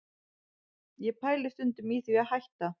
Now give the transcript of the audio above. Ég pæli stundum í því að hætta